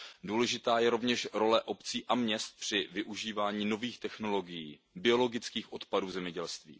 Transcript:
Důležitá je rovněž role obcí a měst při využívání nových technologií, biologických odpadů v zemědělství.